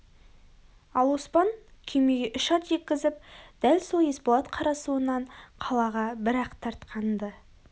ал оспан күймеге үш ат жеккізіп дәл сол есболат қарасуынан қалаға бір ақтартқан-ды